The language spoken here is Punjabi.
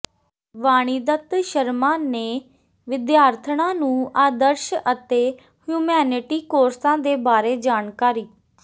ਵਾਣੀਦੱਤ ਸ਼ਰਮਾ ਨੇ ਵਿਦਿਆਰਥਣਾਂ ਨੰੂ ਆਦਰਸ਼ ਅਤੇ ਹਿਊਮੈਨਿਟੀ ਕੋਰਸਾਂ ਦੇ ਬਾਰੇ ਜਾਣਕਾਰੀ